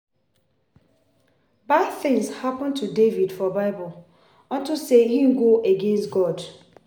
Bad things happen to David for bible unto say he go against God